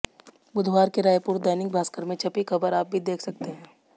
बुधवार के रायपुर दैनिक भास्कर में छपी ख़बर आप भी देख सकते हैं